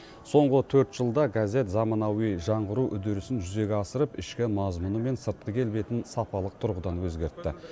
соңғы төрт жылда газет заманауи жаңғыру үдерісін жүзеге асырып ішкі мазмұны мен сыртқы келбетін сапалық тұрғыдан өзгертті